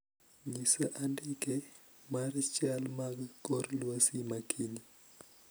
Nyisa andike mar chal mag kor lwasi makiny